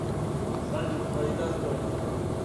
салют твои достоинства